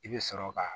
I bɛ sɔrɔ ka